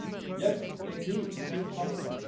east. Yes, they need a new compact.